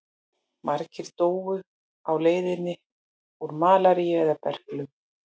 Margir dóu á leiðinni úr malaríu eða berklum.